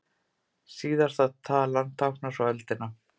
Síðasta talan táknar svo öldina.